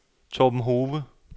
Torben Hove